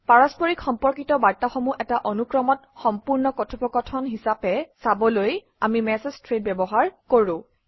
পাৰস্পৰিক সম্পৰ্কিত বাৰ্তাসমূহ এটা অনুক্ৰমত সম্পূৰ্ণ কথোপকথন হিচাপে চাবলৈ আমি মেচেজ থ্ৰেড ব্যৱহাৰ কৰোঁ